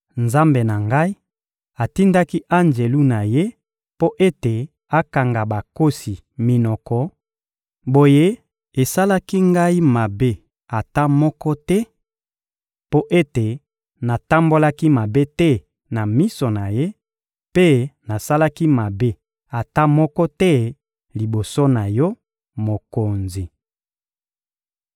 Nzambe na ngai atindaki anjelu na Ye mpo ete akanga bankosi minoko; boye, esalaki ngai mabe ata moko te, mpo ete natambolaki mabe te na miso na Ye, mpe nasalaki mabe ata moko te liboso na yo, mokonzi.